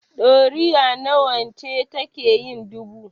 Ɗoriya nawa ce take yin dubu?